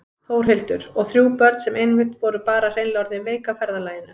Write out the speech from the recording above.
Þórhildur: Og þrjú börn sem einmitt voru bara hreinlega orðin veik af ferðalaginu?